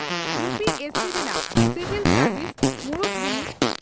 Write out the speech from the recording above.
UPSC ᱨᱮᱱᱟᱜ civil services (ᱢᱩᱲᱩᱛ ᱵᱤᱱᱤᱰ)